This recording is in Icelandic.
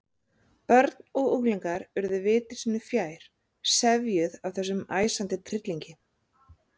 Börn og unglingar urðu viti sínu fjær, sefjuð af þessum æsandi tryllingi.